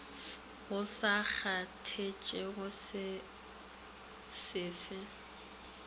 go sa kgathatšege se fe